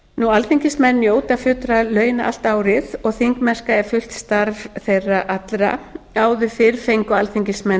alþingismenn njóta fullra launa allt árið og þingmennska er fullt starf þeirra allra áður fyrr fengu alþingismenn